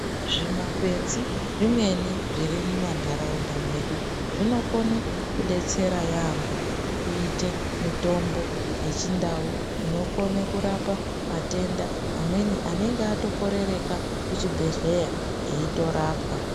Zvimakwenzi zvimweni zviri mumantaraunda mwedu zvinokone kudetsera yaampho kuite mitombo yechindau inokone kurapa matenda amweni anonge atokorereka kuchibhedhleya eitorapwa.